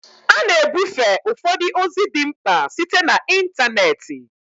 A na-ebufe ụfọdụ ozi dị mkpa site na ịntanetị